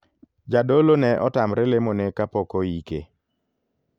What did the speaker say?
Jadolo ne otamre lemo ne kapok oike.